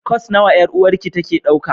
Course nawa 'yar'uwarki take dauka?